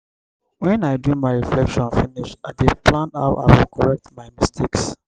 wen i do my reflection finish i dey plan how i go correct my mistakes.